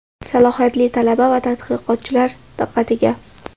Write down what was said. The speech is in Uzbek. salohiyatli talaba va tadqiqotchilar diqqatiga!.